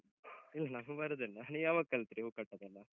ಇಲ್ಲ ನಂಗ್ ಬರುದಿಲ್ಲ, ನೀವ್ ಯಾವಾಗ್ ಕಲ್ತ್ರಿ ಹೂ ಕಟ್ಟುದೆಲ್ಲ?